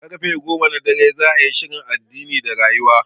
Karfe goma na dare za'a yi shirin addini da rayuwa